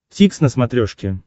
дтикс на смотрешке